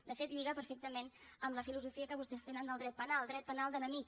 de fet lliga perfectament amb la filosofia que vostès tenen del dret penal dret penal d’enemic